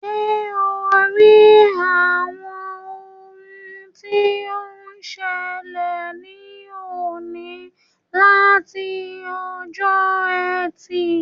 Ṣé ò ń rí àwọn ohun tí ó ń ṣẹlẹ̀ ní òní àti ọjọ́ Ẹtì?